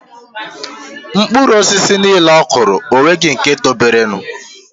Mkpụru osisi nile okụro onweighi nke tobere.